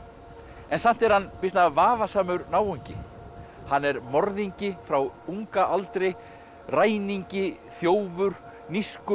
en samt er hann býsna vafasamur náungi hann er morðingi frá unga aldri ræningi þjófur nískur